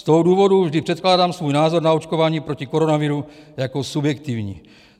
Z toho důvodu vždy předkládám svůj názor na očkování proti koronaviru jako subjektivní.